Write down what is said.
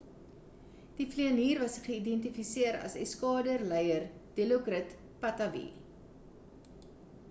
die vlieenier was identifiseer as eskader leier dilokrit pattavee